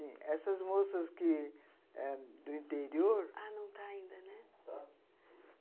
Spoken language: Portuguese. Essas moças que ãh...do interior... Ah, não está ainda, né? Está.